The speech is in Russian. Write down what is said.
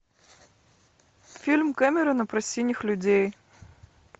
фильм кэмерона про синих людей